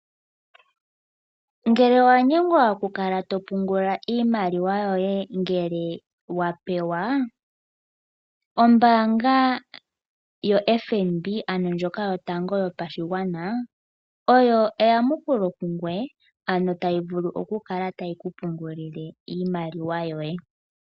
Ngele owa nyengwa oku kala topungula iimaliwa yoye ngele wapeya ombaanga yotango yopashigwana oyo eyamukulo lyoye moku kala tayi kupungulile.